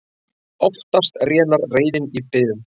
Oftast rénar reiðin í biðum.